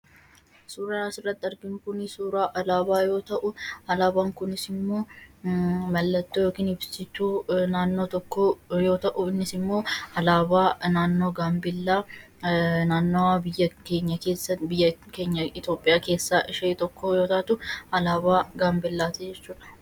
Suuraan asirratti arginu kun suuraa alaabaa yoo ta'u, alaabaan kunis immoo mallattoo yookiin ibsituu naannoo tokkoo yoo ta'u, innis immoo alaabaa naannoo Gaambellaadha. Gaambellaanis naannoo biyya keenya Itoophiyaa keessaa tokkodha.